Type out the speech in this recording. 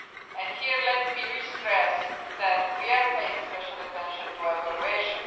And here, let me stress again that we are paying special attention to evaluation.